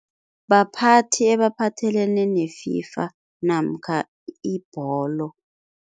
Baphathi ebaphathelene ne-FIFA namkha ibholo.